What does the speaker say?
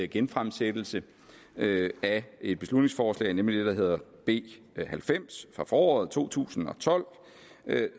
genfremsættelse af et beslutningsforslag nemlig det der hedder b halvfems fra foråret to tusind og tolv